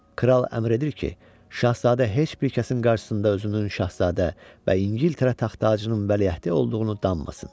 Kral əmr edir ki, Şahzadə heç bir kəsin qarşısında özünün Şahzadə və İngiltərə taxt-tacının vəliəhdi olduğunu danmasın.